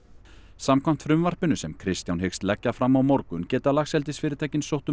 samkvæmt frumvarpinu sem Kristján hyggst leggja fram á morgun geta laxeldisfyrirtækin sótt um